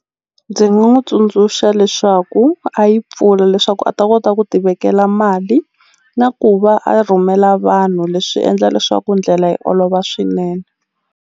Ndzi nga n'wi tsundzuxa leswaku a yi pfula leswaku a ta kota ku ti vekela mali na ku va a rhumela vanhu leswi endla leswaku ndlela yi olova swinene.